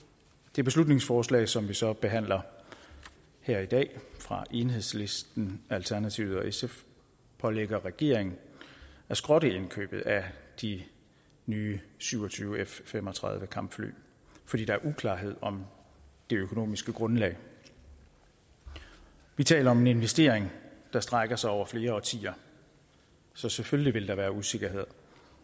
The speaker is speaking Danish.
det beslutningsforslag som vi så behandler her i dag fra enhedslisten alternativet og sf pålægger regeringen at skrotte indkøbet af de nye syv og tyve f fem og tredive kampfly fordi der er uklarhed om det økonomiske grundlag vi vi taler om en investering der strækker sig over flere årtier så selvfølgelig vil der være usikkerhed